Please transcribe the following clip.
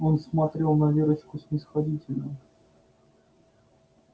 он смотрел на верочку снисходительно